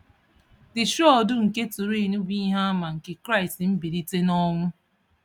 The Shroud nke Turin bụ ìhè àmà nke Kraịst Mbilítè n’Ọnwụ!